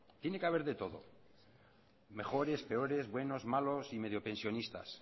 tiene que haber de todo mejores peores buenos malos y medio pensionistas